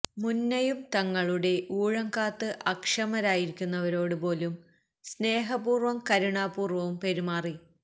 മുന്നയും തങ്ങളുടെ ഊഴം കാത്ത് അക്ഷമരായിരിക്കുന്നവരോടു പോലും സ്നേഹപൂര്വും കരുണാപൂര്വവും പെരുമാറി